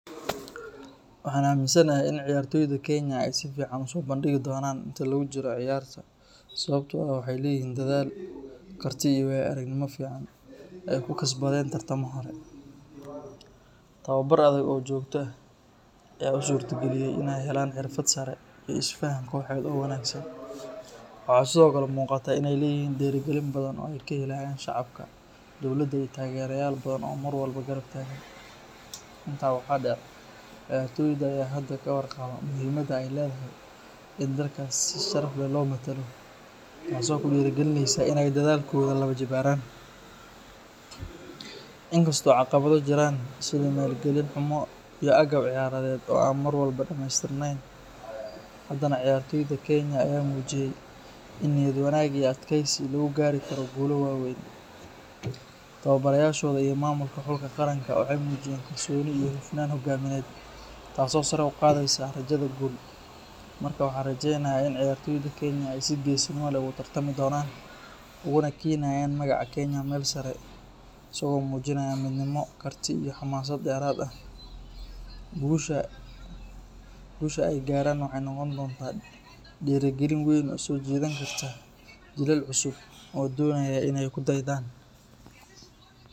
Waxan aminsanahay in ciyaartoda Kenya ay sificaan uso bandhigi doonan inti lugu jiro ciyaarta sababto ah waxay leeyihin dadal, kartid iyo wayo aragnimo fican ay kukasbadeen tartama hore, tababar adag oo jogto ah aya usurta geliye inay helan xirfad sare iyo is isfahan kooxed oo wanaagsan, waxa sidokale muuqataa in ay leyihiin dhiiri gelin badan oo ay kahelayan shacabka dowlada iyo tageerayal badan oo Mar walba garab taagan, taa waxa dheer ciyar tooda aya hada kawar qaba muhiimada ay ledahay in dalka si sharaf leh loo mathalo, taaso kudhiiri gelineyso inay dadalkod laba jibaaran, inkasto caqabada jiraan sida maal gelin xumo iyo agaf ciyaaraded oo an Mar walbo dhameystirnen, hadana ciyartooda Kenya aya muujiyey ini niyad wanaag iyo adkeysi lugu gaari karo guulal waweyn, tababarayashoda iyo maamulka xulka qaranka waxay muujiyen kalsooni iyo xufnan hogamiyeed taaso saarey uqadeysa natijada guud marka waxan rajeynaya ini ciyarto Kenya ay si geesinima leh ogu tartami doonaan uguna keenayan magaca Kenya Mel sare asago muujinaya midnimo karti iyo xamaasad dheerad ah, gusha ay gaaran waxay noqon donta dhiiri gelin weyn way uso jidan karta jilal cusub oo donayan inay kude'edan